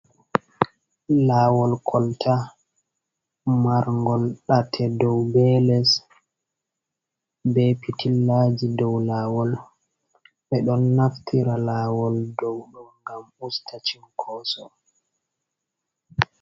Lawol kolta marngol ɗate dow be les be pitillaji dow lawol ɓe ɗon naftira lawol dow ngam usta sinkoso.